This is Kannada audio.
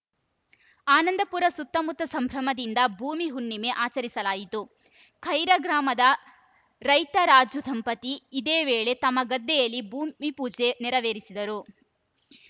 ಆನಂದಪುರ ಸುತ್ತಮುತ್ತ ಸಂಭ್ರಮದಿಂದ ಭೂಮಿಹುಣ್ಣಿಮೆ ಆಚರಿಸಲಾಯಿತು ಖೈರಾ ಗ್ರಾಮದ ರೈತ ರಾಜು ದಂಪತಿ ಇದೇ ವೇಳೆ ತಮ್ಮ ಗದ್ದೆಯಲ್ಲಿ ಭೂಮಿಪೂಜೆ ನೆರವೇರಿಸಿದರು